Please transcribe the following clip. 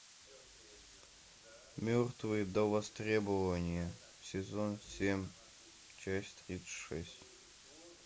мертвые до востребования сезон семь часть тридцать шесть